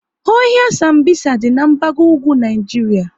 Ohia Sambisa dị n'gbago ugwu Naijiria